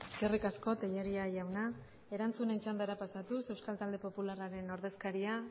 eskerrik asko tellería jauna erantzunen txandara pasatuz euskal talde popularraren ordezkaria